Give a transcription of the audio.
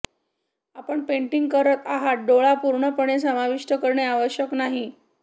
आपण पेंटिंग करत आहात डोळा पूर्णपणे समाविष्ट करणे आवश्यक नाही